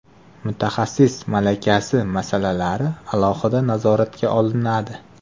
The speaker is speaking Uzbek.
Mutaxassis malakasi masalalari alohida nazoratga olinadi.